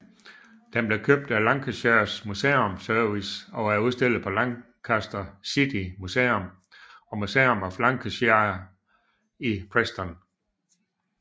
Den blev købt af Lancashire Museums Service og er udstillet på Lancaster City Museum og Museum of Lancashire i Preston